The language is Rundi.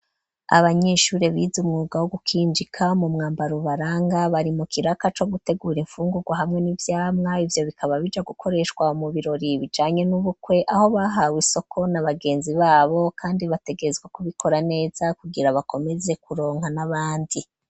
Abanyeshuri bize umwuga wo gukinjika ,mu mwambar' ubaranga bari mu kiraka co gutegura imfungugwa hamwe n'vyamwa, ivyo bikaba bija gukoreshwa mu birori bijanye n'ubukwe ,aho bahawe isoko na bagenzi babo kandi bategerezwa kubikora neza, kugira bakomeze kuronka n'abandi.